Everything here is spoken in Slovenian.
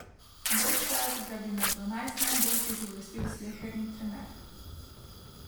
Bržčas ga bi med dvanajst najboljših uvrstil sleherni trener.